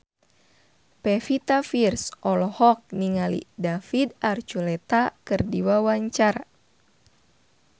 Pevita Pearce olohok ningali David Archuletta keur diwawancara